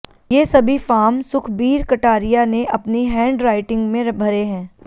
ये सभी फार्म सुखबीर कटारिया ने अपनी हैंड राइटिंग में भरे हैं